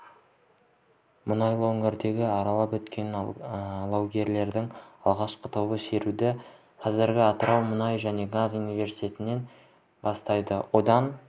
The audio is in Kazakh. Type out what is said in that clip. мұнайлы өңірді аралап өтетін алаугерлердің алғашқы тобы шеруді қазір атырау мұнай және газ университетінен бастайды одан